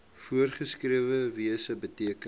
voorgeskrewe wyse beteken